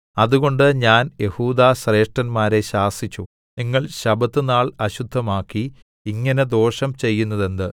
അതുകൊണ്ട് ഞാൻ യെഹൂദാശ്രേഷ്ഠന്മാരെ ശാസിച്ചു നിങ്ങൾ ശബ്ബത്തുനാൾ അശുദ്ധമാക്കി ഇങ്ങനെ ദോഷം ചെയ്യുന്നതെന്ത്